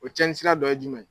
O cɛnin sira dɔ ye jumɛn ye.